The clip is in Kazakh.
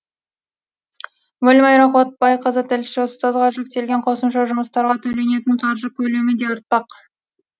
гүлмайра қуатбайқызы тілші ұстазға жүктелген қосымша жұмыстарға төленетін қаржы көлемі де артпақ